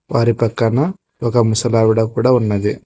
వారి ప్రక్కన ఒక ముసలావిడ కూడా ఉన్నది.